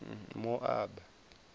moaba